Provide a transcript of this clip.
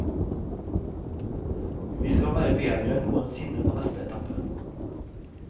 Vi skal være bedre enn noen sinne på neste etappe.